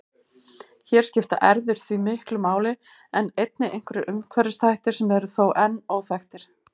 Hér skipta erfðir því miklu máli en einnig einhverjir umhverfisþættir sem eru þó enn óþekktir.